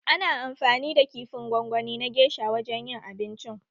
Ana amfani da kifin gwangwani na gesha a wajen yin abincin